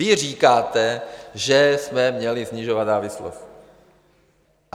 Vy říkáte, že jsme měli snižovat závislost.